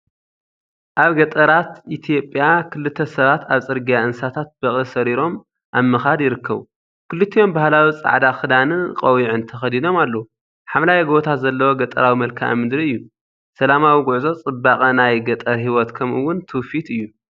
ኣብ ገጠራት ኢትዮጵያ ክልተ ሰባት ኣብ ጽርግያ እንስሳታት በቕሊ ሰሪሮም ኣብ ምኻድ ይርከቡ። ክልቲኦም ባህላዊ ጻዕዳ ክዳንን ቆቢዕን ተኸዲኖም ኣለዉ። ሓምላይ ጎቦታት ዘለዎ ገጠራዊ መልክዓ ምድሪ እዩ። ሰላማዊ ጉዕዞ፡ ጽባቐ ናይ ገጠር ህይወት፡ ከምኡ’ውን ትውፊት እዩ።